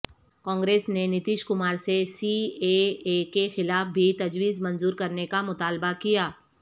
کانگریس نے نتیش کمارسے C A A کے خلاف بھی تجویزمنظورکرنے کامطالبہ کیا